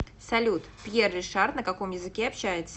салют пьер ришар на каком языке общается